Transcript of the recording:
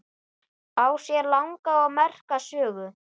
Á sér langa og merka sögu.